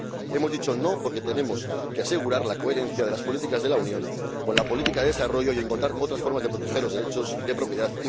Hemos dicho no porque tenemos que asegurar la coherencia de las políticas de la Unión con la política de desarrollo y encontrar otras formas de proteger los derechos de propiedad